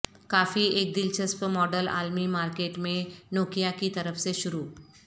کافی ایک دلچسپ ماڈل عالمی مارکیٹ میں نوکیا کی طرف سے شروع